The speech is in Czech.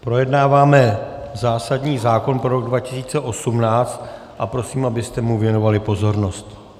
Projednáváme zásadní zákon pro rok 2018 a prosím, abyste mu věnovali pozornost.